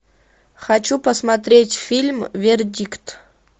хочу посмотреть фильм вердикт